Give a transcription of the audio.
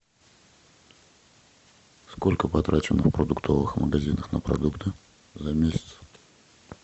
сколько потрачено в продуктовых магазинах на продукты за месяц